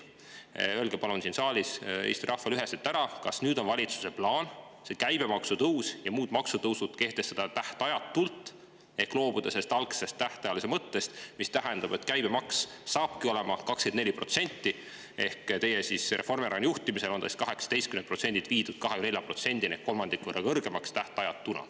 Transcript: Öelge palun siin saalis Eesti rahvale üheselt, kas nüüd on valitsuse plaan see käibemaksu tõus ja muud maksutõusud kehtestada tähtajatult, loobuda algsest tähtajalisuse mõttest, mis tähendab, et käibemaks saabki olema 24%, ehk Reformierakonna juhtimisel on see siis 18%‑lt viidud 24%‑ni ehk kolmandiku võrra kõrgemaks, tähtajatuna.